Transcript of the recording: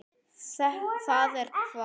Það er hvasst.